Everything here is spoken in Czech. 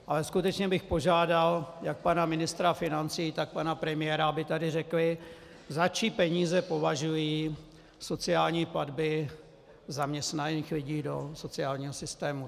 Ale skutečně bych požádal jak pana ministra financí, tak pana premiéra, aby tady řekli, za čí peníze považují sociální platby zaměstnaných lidí do sociálního systému.